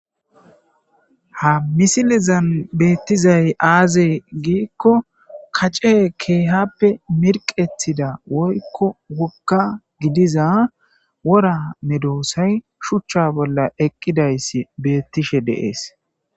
Ha misilezan betizay aze giko kac'e kehipe mirqetida woyko woga gidiza wora medosay shucha bola eqidaysa betishe dees .